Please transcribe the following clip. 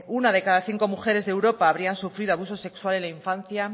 una de cada cinco mujeres de europa habrían sufrido abuso sexual en la infancia